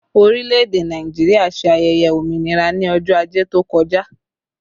Orílẹ̀ èdè Nàìjíríà ṣe ayẹyẹ òmìnira ní ọjọ́ ajé tó kọjá